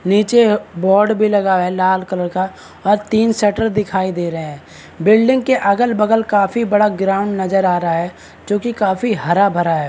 नीचे बोर्ड भी लगा हुआ है लाल कलर का और तीन शटर दिखाई दे रहे है बिल्डिंग के अगल बगल काफी बड़ा ग्राउंड नजर आ रहा है जो की काफी हरा भरा है।